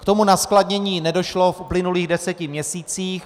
K tomu naskladnění nedošlo v uplynulých deseti měsících.